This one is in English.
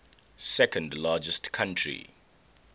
second largest country